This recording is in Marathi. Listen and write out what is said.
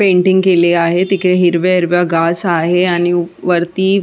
पेन्टिंग केले आहे तिकडे हिरवे हिरव्या गास आहे आणि वरती--